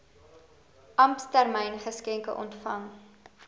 ampstermyn geskenke ontvang